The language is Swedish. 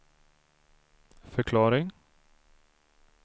förklaring